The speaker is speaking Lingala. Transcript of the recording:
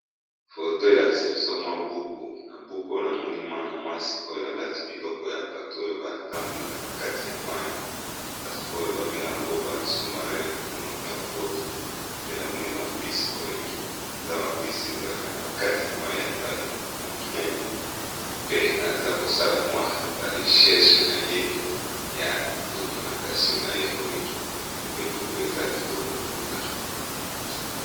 foto elakisi biso mwa buku na buku oyo namoni mwana mwasi oyo alati biloko ya bato oyo batambolaka na kati ya mai bato oyo babengayango ba sus-marin na monoko ya lopoto pe namoni bambisi oyo eza bambisi ezalaka na bakati ya mai ya ebale ya monene pe aza kosala mwa baresheshe na ye ya documentation na ye oyo pe buku eza kitoko mpenza